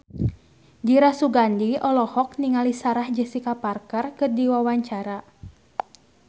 Dira Sugandi olohok ningali Sarah Jessica Parker keur diwawancara